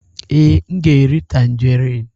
Ee, m ga-eri tanjerịn.